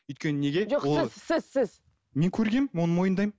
өйткені неге жоқ сіз сіз сіз мен көргенмін оны мойындаймын